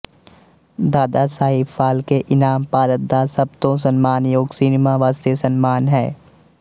ਦਾਦਾ ਸਾਹਿਬ ਫਾਲਕੇ ਇਨਾਮ ਭਾਰਤ ਦਾ ਸਭ ਤੋਂ ਸਨਮਾਨਯੋਗ ਸਿਨੇਮਾ ਵਾਸਤੇ ਸਨਮਾਨ ਹੈ